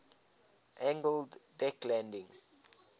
angled deck landing